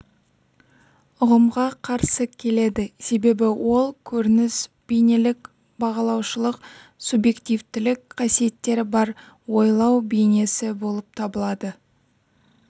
ұғымға қарсы келеді себебі ол көрініс бейнелік бағалаушылық субъективтілік қасиеттері бар ойлау бейнесі болып табылады